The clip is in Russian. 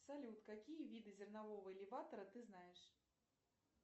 салют какие виды зернового элеватора ты знаешь